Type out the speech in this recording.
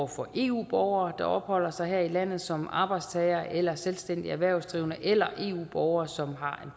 for eu borgere der opholder sig her i landet som arbejdstagere eller selvstændige erhvervsdrivende eller eu borgere som har